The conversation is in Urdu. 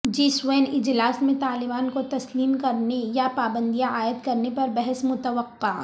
جی سیون اجلاس میں طالبان کو تسلیم کرنے یا پابندیاں عائد کرنے پر بحث متوقع